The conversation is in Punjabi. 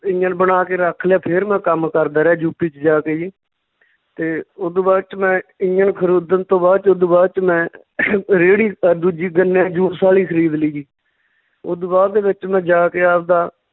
ਇੰਜਣ ਬਣਾ ਕੇ ਰੱਖ ਲਿਆ ਫਿਰ ਮੈਂ ਕੰਮ ਕਰਦਾ ਰਿਹਾ ਯੂਪੀ ਚ ਜਾ ਕੇ ਜੀ ਤੇ ਓਦੂ ਬਾਅਦ ਚ ਮੈਂ ਇੰਜਣ ਖਰੀਦਣ ਤੋਂ ਬਾਅਦ ਚ ਓਦੂ ਬਾਅਦ ਚ ਮੈਂ ਰੇਹੜੀ ਅਹ ਦੂਜੀ ਗੰਨੇ ਦੇ juice ਵਾਲੀ ਖਰੀਦ ਲਈ ਜੀ ਓਦੂ ਬਾਅਦ ਦੇ ਵਿੱਚ ਮੈਂ ਜਾ ਕੇ ਆਵਦਾ